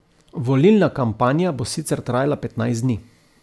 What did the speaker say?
Volilna kampanja bo sicer trajala petnajst dni.